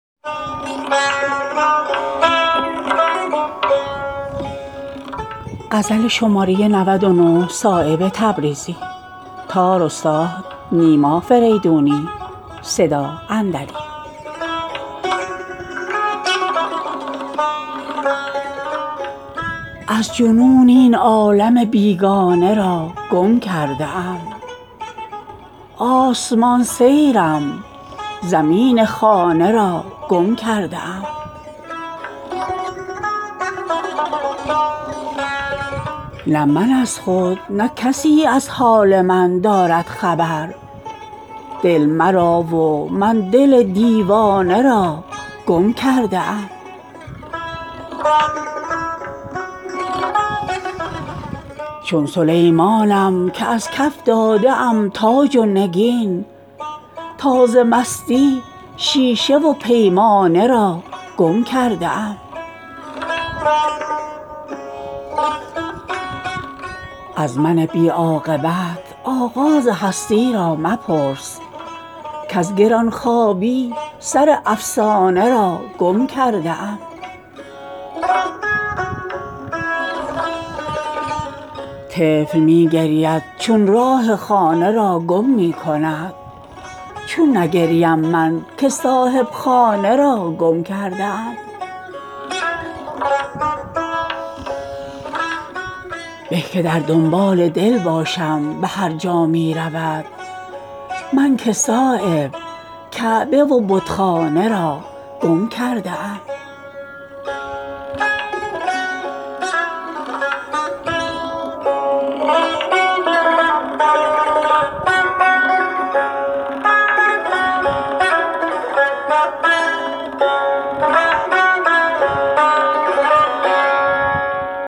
از جنون این عالم بیگانه را گم کرده ام آسمان سیرم زمین خانه را گم کرده ام نه من از خود نه کسی از حال من دارد خبر دل مرا و من دل دیوانه را گم کرده ام چون سلیمانم که از کف داده ام تاج و نگین تا ز مستی شیشه و پیمانه را گم کرده ام از من بی عاقبت آغاز هستی را مپرس کز گران خوابی سر افسانه را گم کرده ام در چنین وقتی که بی پرواز شد زلف سخن از پریشان خاطری ها شانه را گم کرده ام بس که در یک جا ز غلطانی نمی گیرد قرار در نظر آن گوهر یکدانه را گم کرده ام طفل می گرید چو راه خانه را گم می کند چون نگریم من که صاحب خانه را گم کرده ام به که در دنبال دل باشم به هرجا می رود من که صایب کعبه و بتخانه را گم کرده ام